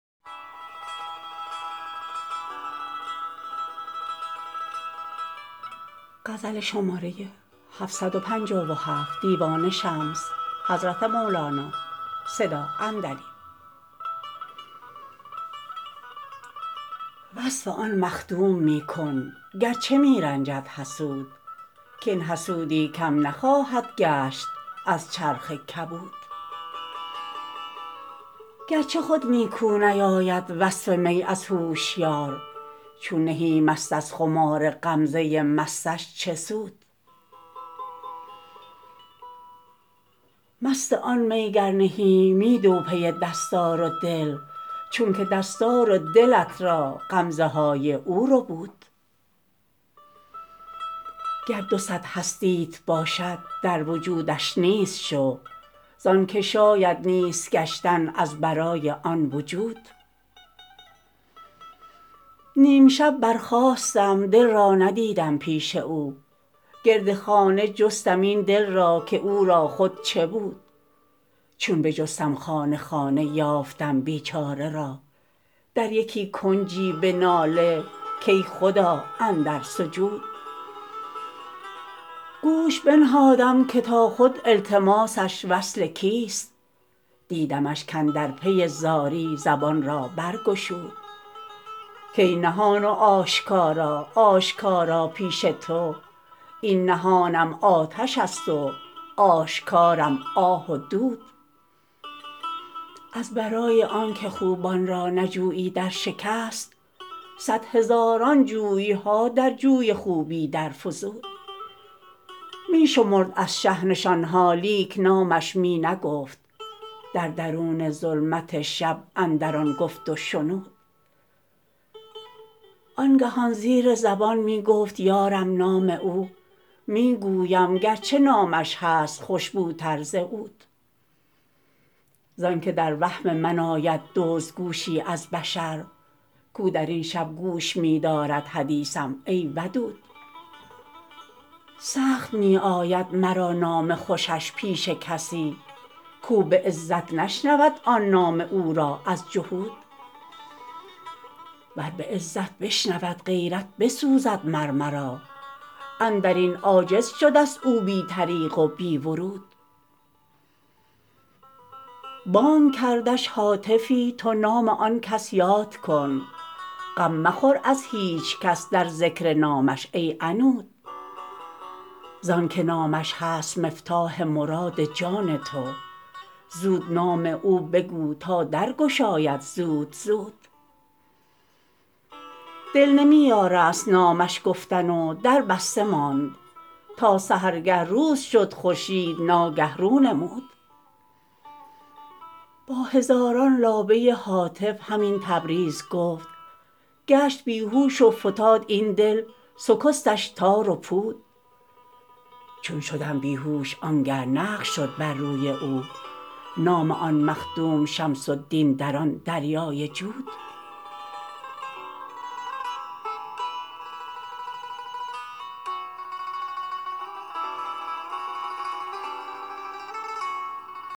وصف آن مخدوم می کن گرچه می رنجد حسود کاین حسودی کم نخواهد گشت از چرخ کبود گرچه خود نیکو نیاید وصف می از هوشیار چون پی مست از خمار غمزه مستش چه سود مست آن می گر نه ای می دو پی دستار و دل چونک دستار و دلت را غمزه های او ربود گر دو صد هستیت باشد در وجودش نیست شو زانک شاید نیست گشتن از برای آن وجود نیم شب برخاستم دل را ندیدم پیش او گرد خانه جستم این دل را که او را خود چه بود چون بجستم خانه خانه یافتم بیچاره را در یکی کنجی به ناله کی خدا اندر سجود گوش بنهادم که تا خود التماس وصل کیست دیدمش کاندر پی زاری زبان را برگشود کای نهان و آشکارا آشکارا پیش تو این نهانم آتش است و آشکارم آه و دود از برای آنک خوبان را نجویی در شکست صد هزاران جوی ها در جوی خوبی درفزود می شمرد از شه نشان ها لیک نامش می نگفت در درون ظلمت شب اندر آن گفت و شنود آنگهان زیر زبان می گفت یارم نام او می نگویم گرچه نامش هست خوش بوتر ز عود زانک در وهم من آید دزدگوشی از بشر کو در این شب گوش می دارد حدیثم ای ودود سخت می آید مرا نام خوشش پیش کسی کو به عزت نشنود آن نام او را از جحود ور به عزت بشنود غیرت بسوزد مر مرا اندر این عاجز شدست او بی طریق و بی ورود بانگ کردش هاتفی تو نام آن کس یاد کن غم مخور از هیچ کس در ذکر نامش ای عنود زانک نامش هست مفتاح مراد جان تو زود نام او بگو تا در گشاید زود زود دل نمی یارست نامش گفتن و در بسته ماند تا سحرگه روز شد خورشید ناگه رو نمود با هزاران لابه هاتف همین تبریز گفت گشت بی هوش و فتاد این دل شکستن تار و پود چون شدم بی هوش آنگه نقش شد بر روی او نام آن مخدوم شمس الدین در آن دریای جود